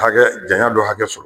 Hakɛ janya dɔ hakɛ sɔrɔ.